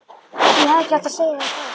Ég hefði ekki átt að segja þér frá þessu